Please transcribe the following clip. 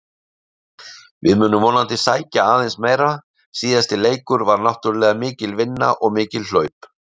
Við munum vonandi sækja aðeins meira, síðasti leikur var náttúrulega mikil vinna og mikil hlaup.